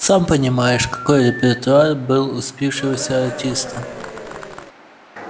сам понимаешь какой репертуар был у спившегося артиста